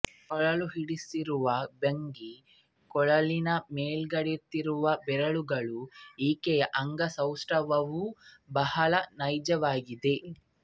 ಕೊಳಲು ಹಿಡಿಸಿರುವ ಭಂಗಿ ಕೊಳಲಿನ ಮೇಲಾಡುತ್ತಿರುವ ಬೆರಳುಗಳೂ ಈಕೆಯ ಅಂಗಸೌಷ್ಟವವೂ ಬಹಳ ನೈಜವಾಗಿದೆ